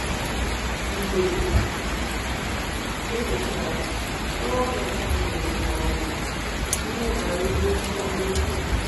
Mgbe e mechara, gọọmenti nyere m ọzụzụ n’ihe banyere ọrụ ugbo.